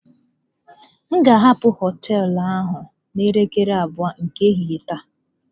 M ga-ahapụ hoteelu ahụ n'elekere abụọ nke ehihie taa.